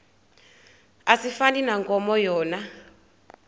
asifani nankomo yona